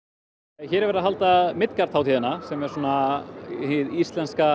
hér er verið að halda hátíðina sem er svona hin íslenska